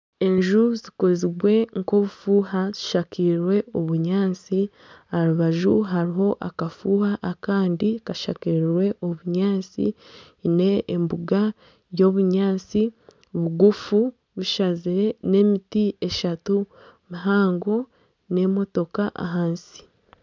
Enju zikozirwe nka obufuuha zishakirwe obunyaatsi aha rubaju hariho akafuuha akandi kashakirwe obunyaatsi kiine embuga y'obunyaatsi bugufu bushazire n'emiti eshatu mihango n'emotooka ahansi.